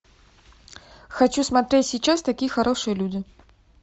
хочу смотреть сейчас такие хорошие люди